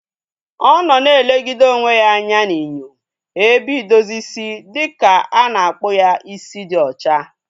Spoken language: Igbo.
Ọ nọ na elegide onwe ya anya n'inyo ebe idozi isi dịka a na-akpụ ya isi dị ocha